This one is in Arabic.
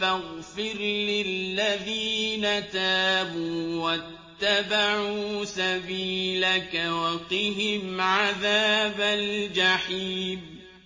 فَاغْفِرْ لِلَّذِينَ تَابُوا وَاتَّبَعُوا سَبِيلَكَ وَقِهِمْ عَذَابَ الْجَحِيمِ